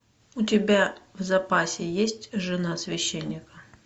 у тебя в запасе есть жена священника